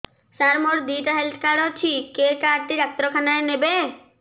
ସାର ମୋର ଦିଇଟା health card ଅଛି କେ କାର୍ଡ ଟି ଡାକ୍ତରଖାନା ରେ ନେବେ